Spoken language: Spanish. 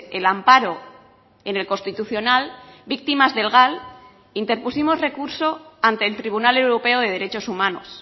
el amparo en el constitucional víctimas del gal interpusimos recurso ante el tribunal europeo de derechos humanos